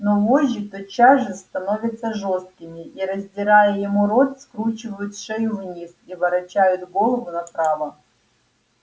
но вожжи тотчас же становятся жёсткими и раздирая ему рот скручивают шею вниз и ворочают голову направо